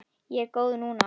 Ég er góð núna.